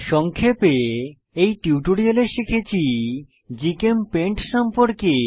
সংক্ষেপে এই টিউটোরিয়ালে শিখেছি জিচেমপেইন্ট সম্পর্কে